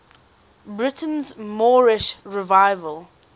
britain's moorish revival